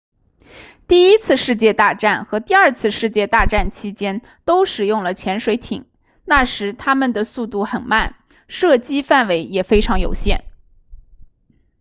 第一次世界大战和第二次世界大战期间都使用了潜水艇那时它们的速度很慢射击范围也非常有限